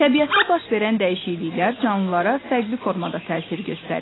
Təbiətdə baş verən dəyişikliklər canlılara fərqli formada təsir göstərir.